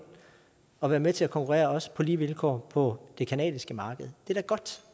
og være med til at konkurrere på lige vilkår på det canadiske marked